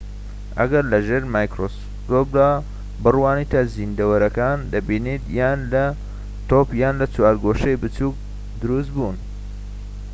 ئەگەر لە ژێر مایکرۆسکۆپدا بڕوانیتە زیندەوەرەکان دەبینیت یان لە تۆپ یان چوارگۆشەی بچوك دروست بوون